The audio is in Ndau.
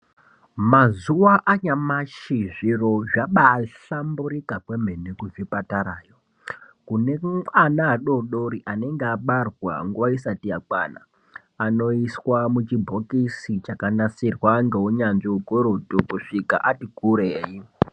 Mazuva anyamashi zviro zvabahlamburika kwemene kuzvipatarayo. Kune ana adori dori anenge abarwa nguva isati yakwana, anoiswa muchibhokisi chakanasirwa ngeunyanzvi ukurutu, kusvika ati kurei.